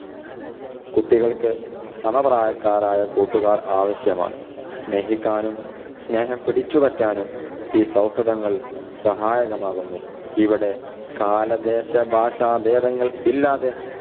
കുട്ടികൾക്ക് സമ പ്രായക്കാരായ കൂട്ടുകാർ ആവശ്യമാണ്. സ്നേഹിക്കാനും സ്നേഹം പിടിച്ചുപറ്റാനും ഈ സൗഹൃദങ്ങൾ സഹായകമാവുന്നു. ഇവിടെ കാല, ദേശ, ഭാഷ ഭേദങ്ങൾ ഇല്ലാതെ